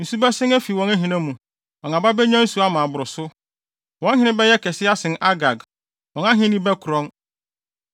Nsu bɛsen afi wɔn ahina mu. Wɔn aba benya nsu ama aboro so. “Wɔn hene bɛyɛ kɛse asen Agag; wɔn ahenni bɛkorɔn.